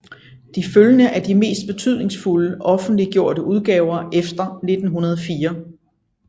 De følgende er de mest betydningsfulde offentliggjorte udgaver efter 1904